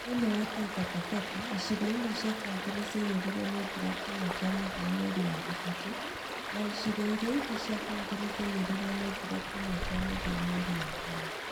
Thiini wa Taita Taveta icigo imwe cia county ni͂ ciaiyu͂rirwo ni͂ mbura kiumia ki͂a mu͂thia mweri wa gatatu͂ na icigo iria ingi͂ cia county ni͂ ciaiyu͂rirwo ni͂ mbura kiumia ki͂a mu͂thia mweri wa kana.